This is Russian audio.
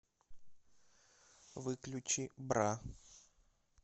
выключи бра